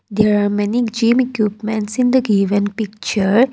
there are many gym equipments in the given picture.